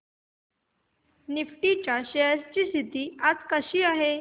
Nifty च्या shares ची स्थिती आज कशी आहे